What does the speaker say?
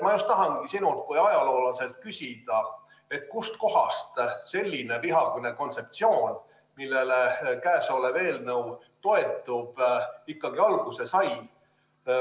Ma tahangi sinult kui ajaloolaselt küsida, kust kohast selline vihakõne kontseptsioon, millele käesolev eelnõu toetub, ikkagi alguse sai.